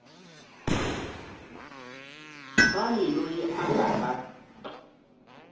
mani loyi a nga ta